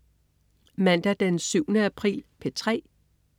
Mandag den 7. april - P3: